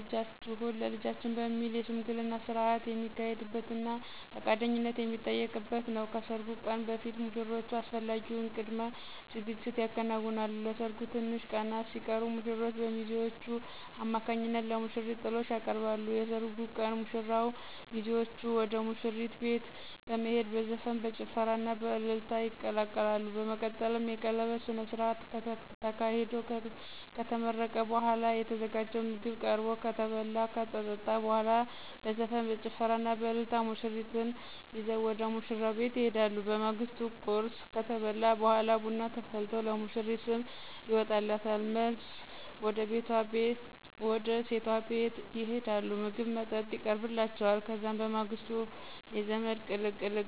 ልጃችሁን ለልጃችን በሚል የሽምግልና ስነስርዓት የሚካሄድበትና ፈቃደኝነት የሚጠየቅበት ነው። ከሰርጉ ቀን በፊት ሙሽሮቹ አስፈላጊውን ቅድመ ዝግጅት ያከናውናሉ። ለሰርጉ ትንሽ ቀናት ሲቀሩት ሙሽራው በሚዜዎቹ አማካኝነት ለሙሽሪት ጥሎሽ ያቀርባል። የሰርጉ ቀን ሙሽራውና ሚዜዎቹ ወደ ሙሽሪት ቤት በመሄድ በዘፈን፣ በጭፈራና በእልልታ ይቀላቀላሉ። በመቀጠልም የቀለበት ስነስርዓት ተካሂዶ ከተመረቀ በኋላ የተዘጋጀው ምግብ ቀርቦ ከተበላ ከተጠጣ በኋላ በዘፈን፣ በጭፈራና በእልልታ ሙሽሪትን ይዘው ወደ ሙሽራው ቤት ይሄዳሉ። በማግስቱ ቁርስ ከተበላ በኋላ ቡና ተፈልቶ ለሙሽሪት ስም ይወጣላታል። መልስ ወደ ሴቷ ቤት ይሄዳሉ ምግብ መጠጥ ይቀርብላቸዋል። ከዛም በማግስቱ የዘመድ ቅልቅል ይዘጋጃል።